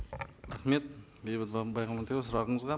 рахмет бейбіт баймағамбетұлы сұрағыңызға